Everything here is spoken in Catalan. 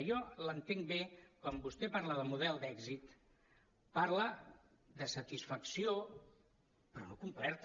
jo l’entenc bé quan vostè parla del model d’èxit parla de satisfacció però no completa